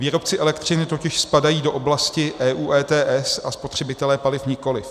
Výrobci elektřiny totiž spadají do oblasti EU ETS a spotřebitelé paliv nikoliv.